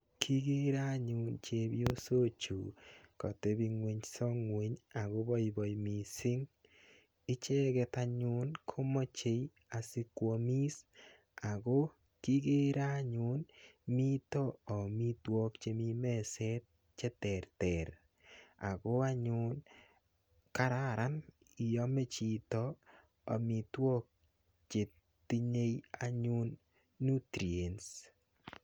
Kikere anyun chepyosok chu, katebung'unyso ng'uny, akobaibai missing. Icheket anyun komachei asikwamis. Ako kikere anyum mitoi amitwogik chemii meset che terter. Ako anyun, kararan iame chito amitwogik chetinye anyun nutrients.